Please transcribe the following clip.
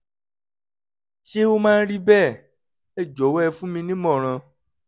ṣé ó máa ń rí bẹ́ẹ̀? ẹ jọ̀wọ́ ẹ fún mi ní ìmọ̀ràn